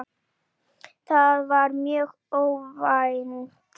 Það var mjög óvænt.